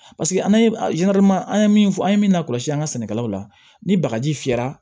Paseke an ye an ye min fɔ an ye min na kɔlɔsi an ka sɛnɛkɛlaw la ni bagaji fiyɛra